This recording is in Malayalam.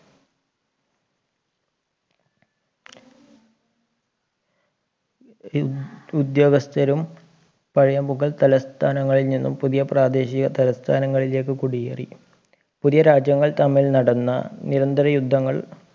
ഉദ്യോഗസ്ഥരും പഴയ മുകൾ തലസ്ഥാനങ്ങളിലും നിന്നും പുതിയ പ്രാദേശിക തലസ്ഥാനങ്ങളിലേക്ക് കുടിയേറി പുതിയ രാജ്യങ്ങൾ തമ്മിൽ നടന്ന നിരന്തര യുദ്ധങ്ങൾ